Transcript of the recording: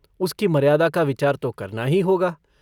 उसकी मर्यादा का विचार तो करना ही होगा।